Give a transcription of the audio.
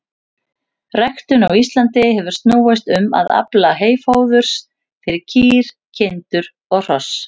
Ræktun á Íslandi hefur snúist um að afla heyfóðurs fyrir kýr, kindur og hross.